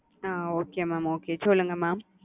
அ okay mamokay சொல்லுங்க mam.